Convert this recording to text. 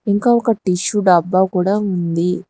ఇంకా ఒక టిష్యూ డబ్బా కూడా ఉంది.